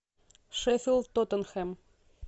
шеффилд тоттенхэм